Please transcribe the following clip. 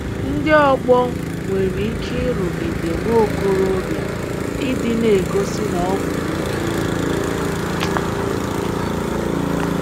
Ndị ọgbọ nwere ike ịrụgide nwa okorobịa ịdị na - egosi na ọ bụ nwoke.